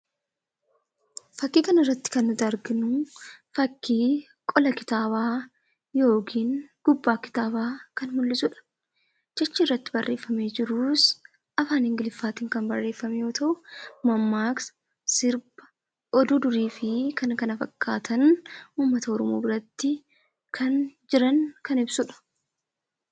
Fakkii kanarratti kan nuti arginu fakkii qola kitaabaa yookiin gubbaa kitaabaa kan mul'isudha. Jechi irratti barreeffamee jirus afaan ingiliffaatiin kan barreeffame yoo ta'u, mammaaksa, sirba, oduu durii fi kan kana fakkaatan uummata Oromoo biratti kan jiran kan ibsudha.